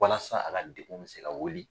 Walasa a ka degun bɛ se ka wuli.